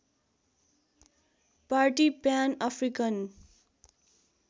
party Pan African